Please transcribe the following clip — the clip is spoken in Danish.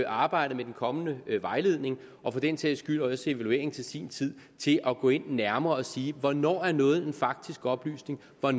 arbejdet med den kommende vejledning og for den sags skyld også evalueringen til sin tid til at gå ind nærmere og sige hvornår noget er en faktisk oplysning og